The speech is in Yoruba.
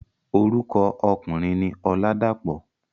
Orúkọ ọkùnrin ni Ọládàpọ̀.